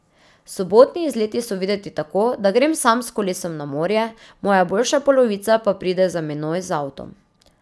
Sobotni izleti so videti tako, da grem sam s kolesom na morje, moja boljša polovica pa pride za menoj z avtom.